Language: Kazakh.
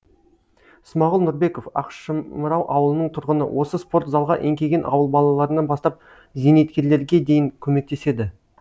смағұл нұрбеков ақшымырау ауылының тұрғыны осы спорт залға еңкейген ауыл балаларынан бастап зейнеткерлерге дейін көмектеседі